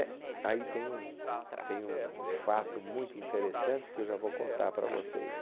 É, aí tem um tem um um fato muito interessante que eu já vou contar para vocês.